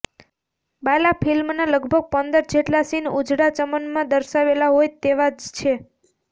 બાલા ફિલ્મના લગભગ પંદર જેટલા સીન ઉજડા ચમનમાં દર્શાવેલા હોય તેવા જ છે